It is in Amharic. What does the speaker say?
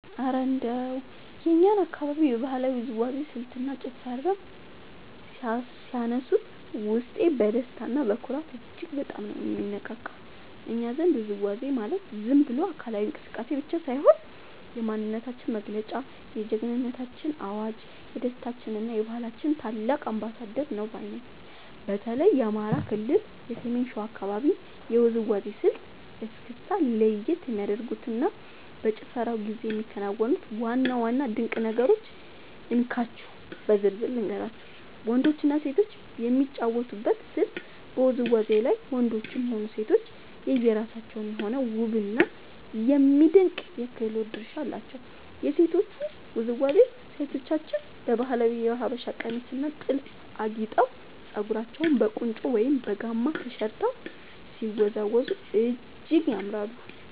እረ እንደው የእኛን አካባቢ የባህላዊ ውዝዋዜ ስልትና ጭፈርማ ሲያነሱት፣ ውስጤ በደስታና በኩራት እጅግ በጣም ነው የሚነቃቃው! እኛ ዘንድ ውዝዋዜ ማለት ዝም ብሎ አካላዊ እንቅስቃሴ ብቻ ሳይሆን፣ የማንነታችን መገለጫ፣ የጀግንነታችን አዋጅ፣ የደስታችንና የባህላችን ታላቅ አምባሳደር ነው ባይ ነኝ። በተለይ የአማራ ክልል የሰሜን ሸዋ አካባቢን የውዝዋዜ ስልት (እስክስታ) ለየት የሚያደርጉትንና በጭፈራው ጊዜ የሚከናወኑትን ዋና ዋና ድንቅ ነገሮች እንካችሁ በዝርዝር ልንገራችሁ፦ . ወንዶችና ሴቶች የሚጫወቱበት ስልት በውዝዋዜው ላይ ወንዶችም ሆኑ ሴቶች የየራሳቸው የሆነ ውብና የሚደነቅ የክህሎት ድርሻ አላቸው። የሴቶቹ ውዝዋዜ፦ ሴቶቻችን በባህላዊው የሀበሻ ቀሚስና ጥልፍ አጊጠው፣ ፀጉራቸውን በቁንጮ ወይም በጋማ ተሸርበው ሲወዝወዙ እጅግ ያምራሉ።